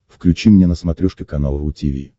включи мне на смотрешке канал ру ти ви